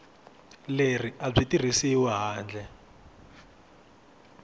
leri a byi tirhisiwi handle